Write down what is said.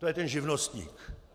To je ten živnostník!